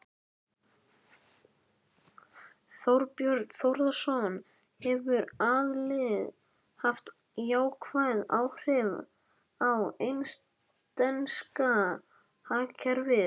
Þorbjörn Þórðarson: Hefur aðildin haft jákvæð áhrif á eistneska hagkerfið?